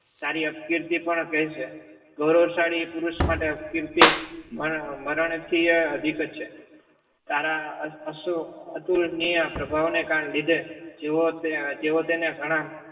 તારી અપકીર્તિ પણ કેહશે. ગૌવરવશાળી પુરુષ માટે અપકીર્તિ મરણ થી અધિક જ છે. તારા અતુલનીય પ્રભાવને લીધે જેવો તેને ઘણા